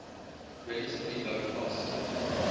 relatively low cost